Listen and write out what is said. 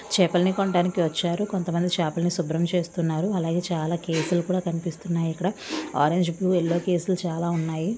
చేపలను కొనడానికి వచ్చారు కొంతమంది చేపలను శుభ్రం చేస్తున్నారు అలాగే చాలా కేసులు కూడా కనిపిస్తున్నాయి ఇక్కడ ఆరెంజ్ ఫ్లూ యెల్లో ఫ్లూ చాలా ఉన్నాయి.